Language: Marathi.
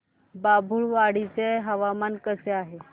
बाभुळवाडी चे हवामान कसे आहे